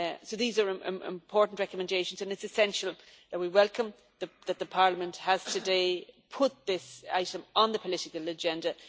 These are important recommendations, and it is essential that we welcome the fact that Parliament has today put this item on the political agenda.